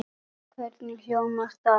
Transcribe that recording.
Hvernig hljómar það?